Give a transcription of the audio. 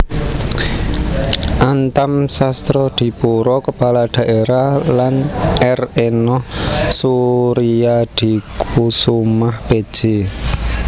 Antam Sastradipura Kepala Daerah lan R Enoh Soeriadikoesoemah Pj